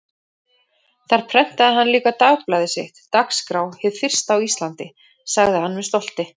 Þar prentaði hann líka dagblaðið sitt, Dagskrá, hið fyrsta á Íslandi, sagði hann með stolti.